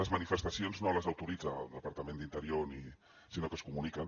les manifestacions no les autoritza el departament d’interior sinó que es comuniquen